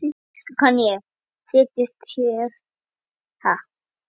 Þýsku kann ég, setjist þér.